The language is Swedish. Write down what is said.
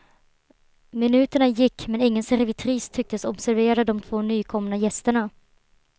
Minuterna gick men ingen servitris tycktes observera de två nykomna gästerna.